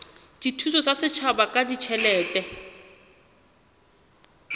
dithuso tsa setjhaba ka ditjhelete